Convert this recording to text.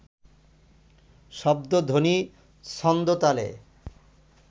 শব্দধ্বনি, ছন্দতালে